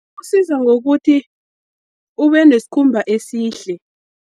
Kusiza ngokuthi ube nesikhumba esihle.